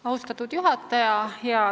Austatud juhataja!